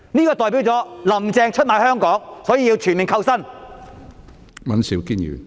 沒有，這代表"林鄭"出賣香港，所以要全面扣薪。